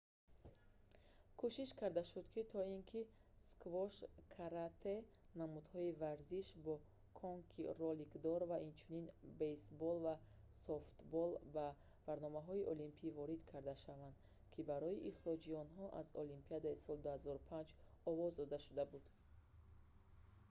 кӯшиш карда шуд то ин ки сквош каратэ намудҳои варзиш бо конкии роликдор ва инчунин бейсбол ва софтбол ба барномаи олимпӣ ворид карда шаванд ки барои ихроҷи онҳо аз олимпиадаи соли 2005 овоз дода шуда буд